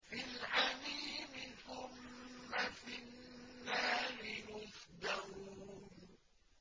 فِي الْحَمِيمِ ثُمَّ فِي النَّارِ يُسْجَرُونَ